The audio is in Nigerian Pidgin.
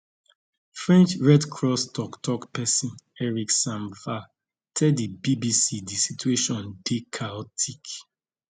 french red cross toktok pesin eric sam vah tell di bbc di situation dey chaotic